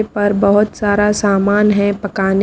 यहां पर बहुत सारा सामान है पकाने --